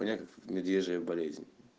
у меня медвежья болезнь